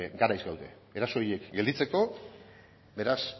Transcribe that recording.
garaiz gaude eraso horiek gelditzeko beraz